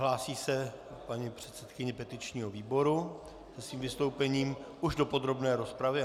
Hlásí se paní předsedkyně petičního výboru se svým vystoupením už do podrobné rozpravy?